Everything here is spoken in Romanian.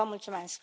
vă mulțumesc